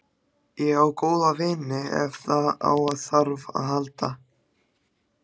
Ég á góða vini ef á þarf að halda.